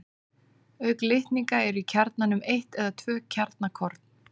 Auk litninga eru í kjarnanum eitt eða tvö kjarnakorn.